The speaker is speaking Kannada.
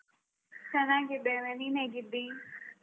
ಚೆನ್ನಾಗಿದ್ದೇನೆ. ನೀನ್ ಹೇಗಿದ್ದಿ?